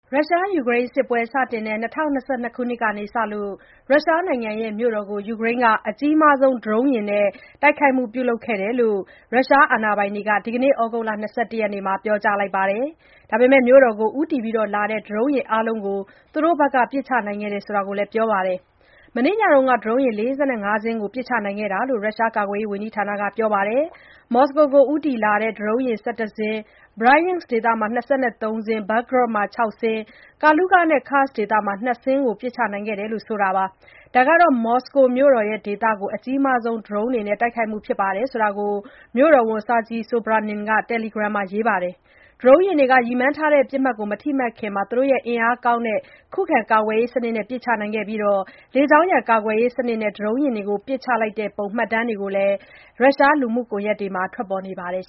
ရုရှား-ယူကရိန်း စစ်ပွဲစတင်တဲ့ ၂၀၂၂ ခုနှစ်ကစလို့ ရုရှားနိုင်ငံမြို့တော် မော်စကို ကို ယူကရိန်းက ဒရုန်း အများဆုံး သုံးပြီး တိုက်ခိုက်ခဲ့ကြောင်း ရုရှား အာဏာပိုင်တွေက ဒီကနေ့ ဩဂုတ်လ ၂၁ ရက်နေ့မှာ ပြောကြားလိုက်ပြီး မြို့တော်ကို ဦးတည်လာနေတဲ့ ဒရုန်း အားလုံးကို သူတို့ဘက်က ပစ်ချနိုင်ခဲ့ကြောင်း ပြောပါတယ်။ မနေ့ညက ဒရုန်း ၄၅ စင်း ကို ပစ်ချနိုင်ခဲ့ကြောင်း ရုရှားကာကွယ်ရေးဝန်ကြီးဌာနက ပြောပါတယ်။ မော်စကိုဒေသကို ဦးတည်လာနေတဲ့ ဒရုန်း ၁၁ စင်း ၊ Bryansk ဒေသမှာ ၂၃ စင်း ၊ Belgorod မှာ ၆ စင်း ၊ Kaluga နဲ့ Kursk ဒေသတွေမှာ ၂ စင်း စီ ပစ်ချနိုင်ခဲ့တယ်လို့ ဆိုပါတယ်။ ဒါဟာ မော်စကိုမြို့တော်ဒေသကို အကြီးမားဆုံး ဒရုန်းယာဉ်နဲ့ တိုက်ခိုက်မှုဖြစ်ကြောင်း မြို့တော်ဝန် Sergey Sobyanin က တယ်လီဂရမ် လူမှုကွန်ယက်မှာ ရေးပါတယ်။ ဒရုန်းယာဉ်တွေ ရည်မှန်းထားတဲ့ ပစ်မှတ်ကို မထိမှန်ခင် သူတို့ရဲ့ အင်အားကောင်းတဲ့ ခုခံ ကာကွယ်ရေးစနစ်နဲ့ ပစ်ချနိုင်ခဲ့တယ်လို့လည်း သူက ပြောပါတယ်။ လေကြောင်းရန် ကာကွယ်ရေးစနစ်နဲ့ ဒရုန်းယာဉ်ကို ပစ်ချလိုက်တဲ့ပုံ မှတ်တမ်း ဗွီဒီယိုတွေ ရုရှား လူမှုကွန်ယက်ပေါ်မှာ ထွက်ပေါ်နေပါတယ်